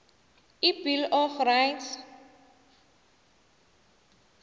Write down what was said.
ibill of rights